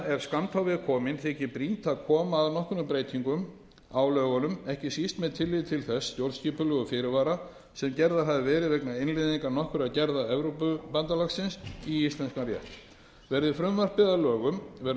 skammt á veg komin þykir brýnt að koma að nokkrum breytingum á lögunum ekki síst með tilliti til þeirra stjórnskipulegu fyrirvara sem gerðir hafa verið vegna innleiðingar nokkurra gerða evrópubandalagsins í íslenskan rétt verði frumvarpið að lögum verður unnt